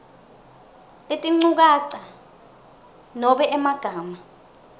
letinchukaca nobe emagama